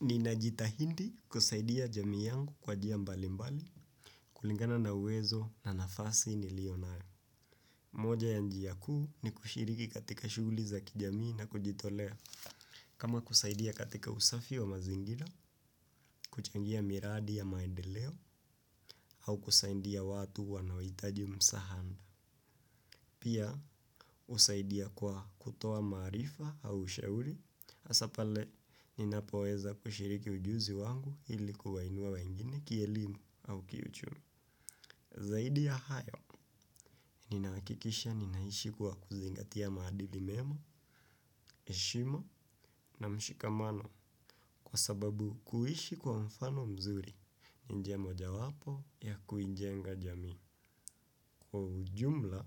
Nina jitahidi kusaidia jamii yangu kwa njia mbali mbali kulingana na uwezo na nafasi nilionayo. Moja ya njia kuu ni kushiriki katika shughuli za kijamii na kujitolea. Kama kusaidia katika usafi wa mazingira, kuchangia miradi ya maendeleo au kusaidia watu wanaohitaji msaada. Pia usaidia kwa kutoa maarifa au ushahuri asa pale ninapoweza kushiriki ujuzi wangu ilikuwa inua wengine kielimu au kiuchumi. Zaidi ya hayo, ninahakikisha ninaishi kwa kuzingatia maadili mema, heshima na mshikamano kwa sababu kuishi kwa mfano mzuri. Ni njia mojawapo ya kuijenga jamii kwa ujumla